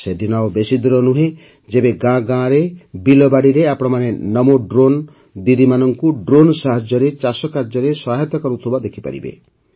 ସେଦିନ ଆଉ ବେଶୀ ଦୂର ନୁହେଁ ଯେବେ ଗାଁ ଗାଁରେ ବିଲବାଡ଼ିରେ ଆପଣମାନେ ନମୋ ଡ୍ରୋନ୍ ଦିଦିମାନଙ୍କୁ ଡ୍ରୋନ୍ ସାହାଯ୍ୟରେ ଚାଷକାର୍ଯ୍ୟରେ ସହାୟତା କରୁଥିବା ଦେଖିପାରିବେ